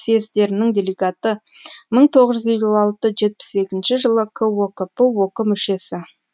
съездерінің делегаты мың тоғыз жүз елу алты жетпіс екінші жылы кокп ок мүшесі